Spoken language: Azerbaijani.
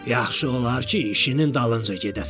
Yaxşı olar ki, işinin dalınca gedəsən.